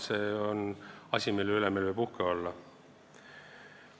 See on asi, mille üle võib uhke olla.